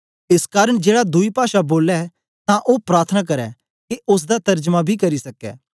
एस कारन जेड़ा दुई पाषा बोलै तां ओ प्रार्थना करै के ओसदा तरजमा बी करी सकै